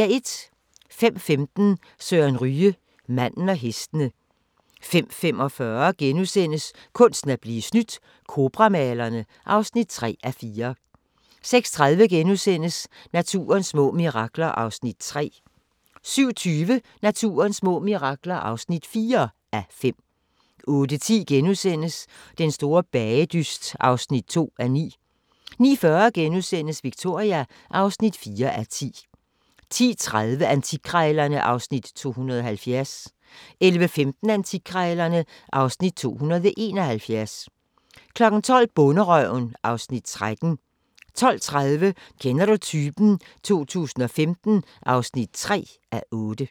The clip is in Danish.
05:15: Søren Ryge: Manden og hestene 05:45: Kunsten at blive snydt – Cobra-malerne (3:4)* 06:30: Naturens små mirakler (3:5)* 07:20: Naturens små mirakler (4:5) 08:10: Den store bagedyst (2:9)* 09:40: Victoria (4:10)* 10:30: Antikkrejlerne (Afs. 270) 11:15: Antikkrejlerne (Afs. 271) 12:00: Bonderøven (Afs. 13) 12:30: Kender du typen? 2015 (3:8)